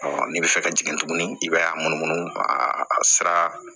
n'i bɛ fɛ ka jigin tuguni i b'a munumunu a sira